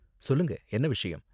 சொல்லுங்க, என்ன விஷயம்?